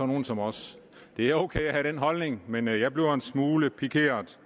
nogle som os det er ok at have den holdning men jeg bliver en smule pikeret